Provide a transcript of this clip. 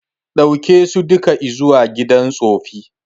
Daukeso duka izuwa gidan tsufi